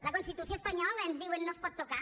la constitució espanyola ens diuen no es pot tocar